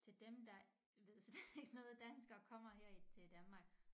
Til dem der ved slet ikke noget dansk og kommer her i til Danmark